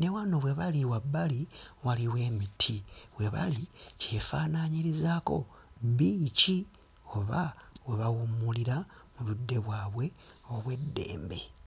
ne wano we bali wabbali waliwo emiti, we bali kyefaanaanyirizaako bbiici oba we bawummulira mu budde bwabwe obw'eddembe.